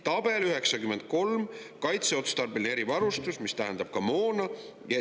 Tabel 93 on kaitseotstarbelise erivarustuse kohta, mis tähendab ka moona.